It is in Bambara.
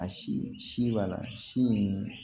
A si si b'a la si